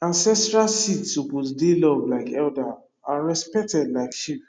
ancestral seed suppose dey loved like elder and respected like chief